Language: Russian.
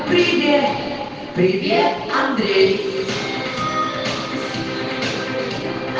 привет привет андрей